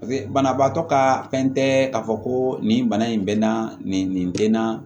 paseke banabaatɔ ka fɛn tɛ k'a fɔ ko nin bana in bɛ n na nin nin den na